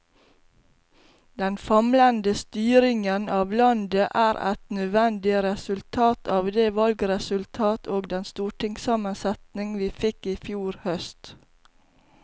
Den famlende styringen av landet er et nødvendig resultat av det valgresultat og den stortingssammensetning vi fikk i fjor høst.